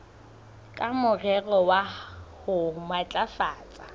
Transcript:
ka morero wa ho matlafatsa